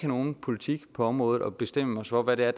nogen politik på området og bestemme os for hvad det er